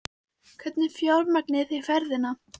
Hvernig fjármagnið þið ferðina?